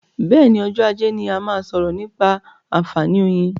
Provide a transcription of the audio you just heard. Bẹ́ẹ̀ni, ọjọ́ ajé ni a máa sọ̀rọ̀ nípa àǹfààní oyin.